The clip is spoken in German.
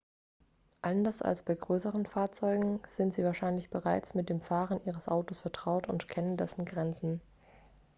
anders als bei größeren fahrzeugen sind sie wahrscheinlich bereits mit dem fahren ihres autos vertraut und kennen dessen grenzen